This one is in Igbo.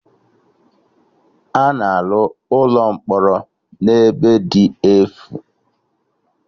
A na-arụ ụlọ mkpọrọ na ebe dị efu